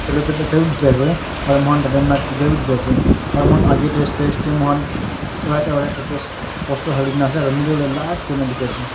diki asae aro moikan tadae mic toida b diki asae aro moikan agae dae stage dae moikan right aro left sssh poster halina asae aro middle dae bright kurina diki asae.